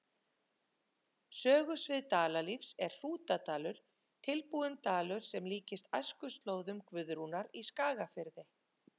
Sögusvið Dalalífs er Hrútadalur, tilbúinn dalur sem líkist æskuslóðum Guðrúnar í Skagafirði.